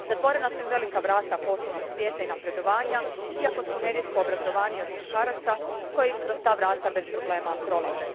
Zatvorena su im velika vrata poslovnog svijeta i napredovanja, iako su nerijetko obrazovanije od muškaraca koji kroz ta vrata bez problema prolaze.